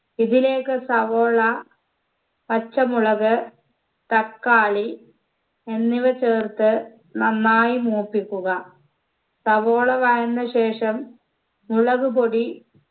ഇതിലേക്ക് സവോള പച്ചമുളക് തക്കാളി എന്നിവ ചേർത്ത് നന്നായി മൂപ്പിക്കുക സവോള വഴന്ന ശേഷം മുളകുപൊടി